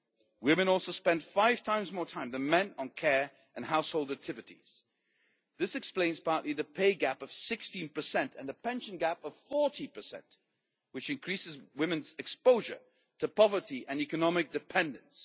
Women also spend five times more time than men on care and household activities. This explains partly the pay gap of 16 and the pension gap of 40, which increases women's exposure to poverty and economic dependence.